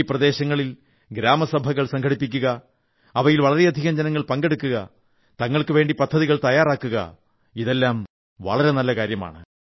ഈ പ്രദേശങ്ങളിൽ ഗ്രാമസഭകൾ സംഘടിപ്പിക്കുക അവയിൽ വളരെയധികം ജനങ്ങൾ പങ്കെടുക്കുക തങ്ങൾക്കുവേണ്ടി പദ്ധതികൾ തയ്യാറാക്കുക ഇതെല്ലാം വളരെ നല്ല കാര്യമാണ്